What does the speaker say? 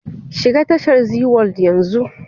Shiga tashar zeeworld yanzu!